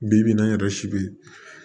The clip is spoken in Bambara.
Bi bi in na n yɛrɛ si bɛ yen